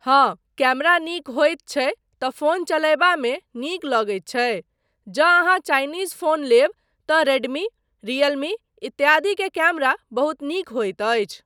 हाँ, कैमरा नीक होइत छै तँ फोन चलयबामे नीक लगैत छै, जँ अहाँ चाइनीज़ फोन लेब तँ रेडमी, रियलमी इत्यादि के कैमरा बहुत नीक होइत अछि।